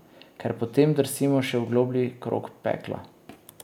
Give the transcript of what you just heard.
Ker potem drsimo še v globlji krog pekla.